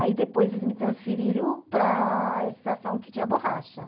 Aí, depois, eles me transferiram para a estação que tinha borracha.